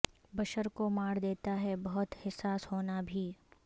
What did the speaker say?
بشر کو مار دیتا ہے بہت حساس ہونا بھی